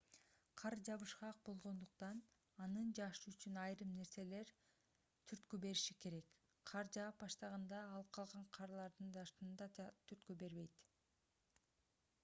кар жабышкак болгондуктан анын жаашы үчүн айрым нерселер түрткү бериши керек кар жаап баштаганда ал калган карлардын жаашына да түрткү берет